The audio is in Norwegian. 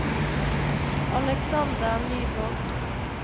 Alexander Nyborg